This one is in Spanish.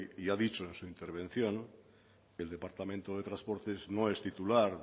y ha dicho en su intervención el departamento de transportes no es titular